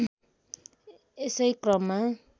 यसै क्रममा